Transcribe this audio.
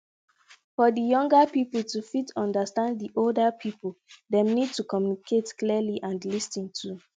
for di younger pipo to fit understand di old pipo dem need to communicate clearly and lis ten too